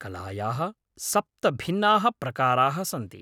कलायाः सप्त भिन्नाः प्रकाराः सन्ति।